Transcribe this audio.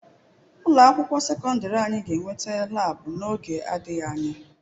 Ụlọ akwụkwọ sekọndrị anyị ga-enweta laabu n'oge adịghị anya.